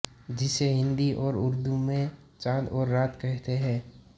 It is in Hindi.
जिसे हिन्दी और उर्दू में चाँद और रात कहते हैं